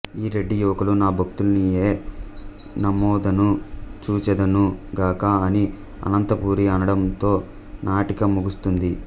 ఈ రెడ్డి యువకులు నా భక్తులనియే నమ్మెదను చూచెదను గాక అని అనంతపురి అనడంతో నాటిక ముగుస్తుంది